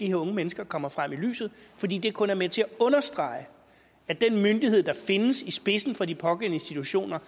de unge mennesker kommer frem i lyset fordi det kun er med til at understrege at den myndighed der findes i spidsen for de pågældende institutioner